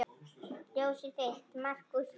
Ljósið þitt, Markús Leví.